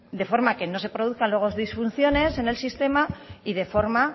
de forma que se no se produzcan nuevas disfunciones en el sistema y de forma